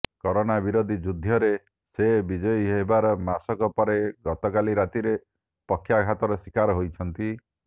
corona ବିରୋଧୀ ଯୁଦ୍ଧରେ ସେ ବିଜୟୀ ହେବାର ମାସକ ପରେ ଗତକାଲି ରାତିରେ ପକ୍ଷାଘାତର ଶିକାର ହୋଇଛନ୍ତି